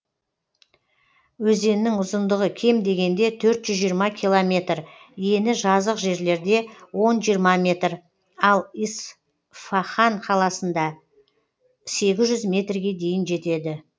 өзеннің ұзындығы кем дегенде төрт жүз жиырма километр ені жазық жерлерде он жиырма метр ал исфаһан қаласында сегіз жүз метрге дейін жетеді